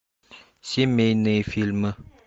семейные фильмы